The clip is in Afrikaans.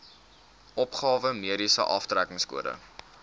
opgawe mediese aftrekkingskode